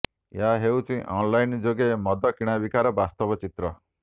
ଏହା ହେଉଛି ଅନ୍ଲାଇନ୍ ଯୋଗେ ମଦ କିଣାବିକାର ବାସ୍ତବ ଚିତ୍ର